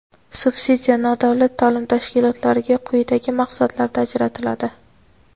subsidiya nodavlat ta’lim tashkilotlariga quyidagi maqsadlarda ajratiladi:.